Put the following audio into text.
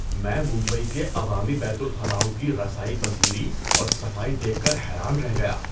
میں ممبئی کے عوامی بیت الخلاؤں کی رسائی پذیری اور صفائی دیکھ کر حیران رہ گیا۔